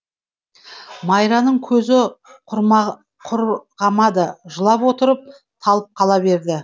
майраның көзі құрғамады жылап отырып талып қала береді